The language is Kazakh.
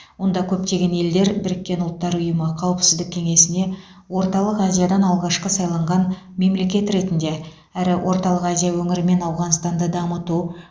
онда көптеген елдер біріккен ұлттар ұйымы қауіпсіздік кеңесіне орталық азиядан алғашқы сайланған мемлекет ретінде әрі орталық азия өңірі мен ауғанстанды дамыту